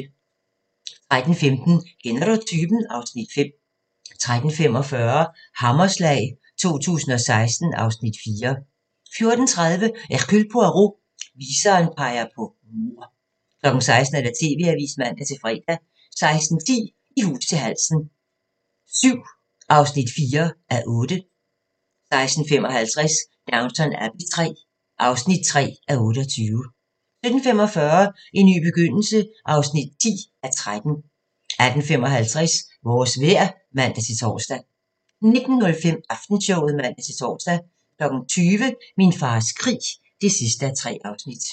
13:15: Kender du typen? (Afs. 5) 13:45: Hammerslag 2016 (Afs. 4) 14:30: Hercule Poirot: Viseren peger på mord 16:00: TV-avisen (man-fre) 16:10: I hus til halsen VII (4:8) 16:55: Downton Abbey III (3:28) 17:45: En ny begyndelse (10:13) 18:55: Vores vejr (man-tor) 19:05: Aftenshowet (man-tor) 20:00: Min fars krig (3:3)